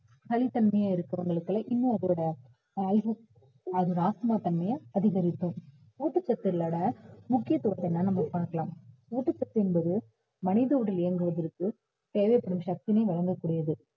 சளித்தன்மையா இருக்கிறவங்களுக்கு எல்லாம் இன்னும் அதோட அதோட ஆஸ்துமா தன்மையை அதிகரிக்கும் ஊட்டச்சத்துகளோட முக்கியத்துவம் என்னன்னு நம்ம பார்க்கலாம் ஊட்டச்சத்து என்பது மனித உடல் இயங்குவதற்கு தேவைப்படும் சக்தியினை வழங்கக் கூடியது